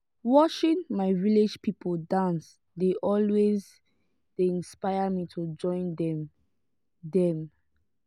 watching my village people dance dey always dey inspire me to join dem. dem.